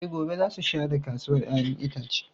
E, gobe za su share kasuwar ‘ya’yan itace.